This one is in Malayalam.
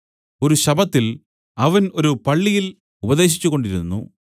ഒരു ശബ്ബത്തിൽ അവൻ ഒരു പള്ളിയിൽ ഉപദേശിച്ചുകൊണ്ടിരുന്നു